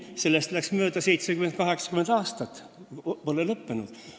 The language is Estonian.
Sellest ajast on möödas 70–80 aastat, aga see pole lõppenud.